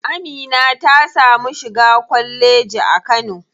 Amina ta samu shiga kwalleji a kano.